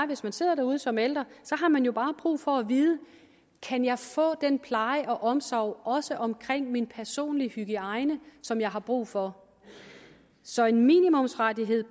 hvis man sidder derude som ældre har man jo bare brug for at vide kan jeg få den pleje og omsorg også omkring min personlig hygiejne som jeg har brug for så en minimumsrettighed